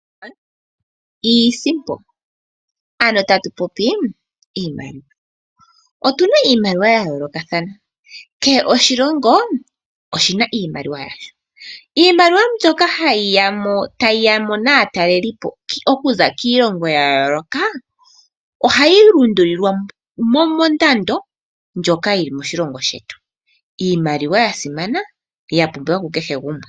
Iisimpo ano tatu popi iimaliwa otuna iimaliwa ya yoolokathana kehe oshilongo oshina iimaliwa yasho. Iimaliwa mbyoka ha yiya ta yiyamo natalelelipo okuza kiilongo ya yooloka ohayi lundululilwa mondando ndjoka yili moshilongo shetu, iimaliwa yasimana ya pumbiwa ku kehe gumwe